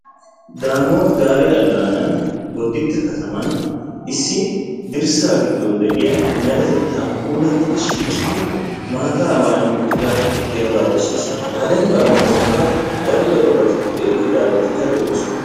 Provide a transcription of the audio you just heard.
daamote gaale alaanan boddite katama issi dirssaa giddon de'iya meretettaa puulatiddi shiccidi maataa maayi uttida dembaa besees, ha dembaa giddonkka daro darobatikka pude eqqidaagee de'oosona.